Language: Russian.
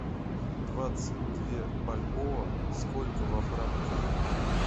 двадцать две бальбоа сколько во франках